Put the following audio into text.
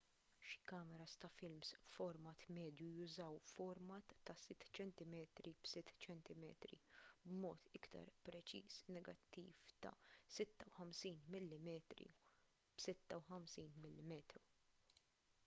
xi kameras ta’ films b’format medju jużaw format ta’ 6 cm b’6 cm b’mod iktar preċiż negattiv ta’ 56 mm b’56 mm